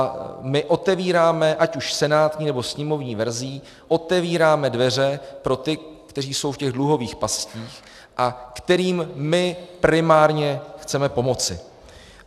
A my otevíráme, ať už senátní, nebo sněmovní verzí, otevíráme dveře pro ty, kteří jsou v těch dluhových pastích a kterým my primárně chceme pomoci.